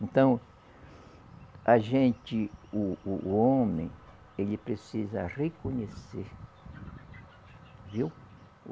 Então, a gente, o o o homem, ele precisa reconhecer, viu?